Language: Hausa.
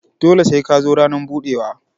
Dole sai ka zo ranan budewa.